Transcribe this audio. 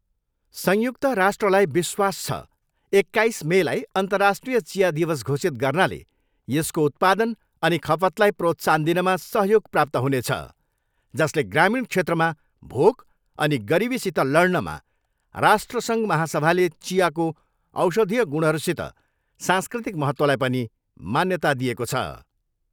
संयुक्त राष्ट्रलाई विश्वास छ, एक्काइस मेलाई अर्न्तराष्ट्रिय चिया दिवस घोषित गर्नाले यसको उत्पादन अनि खपतलाई प्रोत्साहन दिनमा सहयोग प्राप्त हुनेछ, जसले ग्रामीण क्षेत्रमा भोक अनि गरिबीसित लड्नमा राष्ट्र महासभाले चियाको औषधीय गुणहरूसित सांस्कृतिक महत्त्वलाई पनि मान्यता दिएको छ।